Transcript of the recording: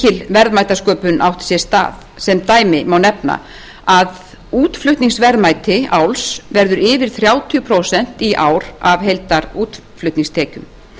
mikil verðmætasköpun átti sér stað sem dæmi má nefna að útflutningsverðmæti áls verður yfir þrjátíu prósent í ár af heildarútflutningstekjum